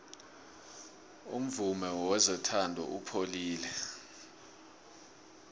umvumo wezothando upholile